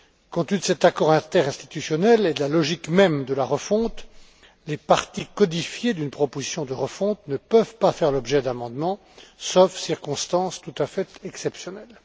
Compte tenu de cet accord interinstitutionnel et de la logique même de la refonte, les parties codifiées d'une proposition de refonte ne peuvent pas faire l'objet d'amendements, sauf circonstance tout à fait exceptionnelle.